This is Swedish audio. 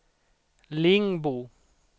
Lingbo